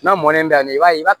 N'a mɔnen bɛ i b'a ye i b'a